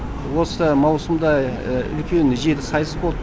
осы маусымда үлкен жеті сайыс болды